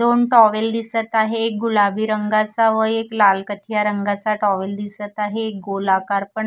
दोन टॉवेल दिसत आहे एक गुलाबी रंगाचा व एक लाल कथिया रंगाचा टॉवेल दिसत आहे एक गोलाकार पण--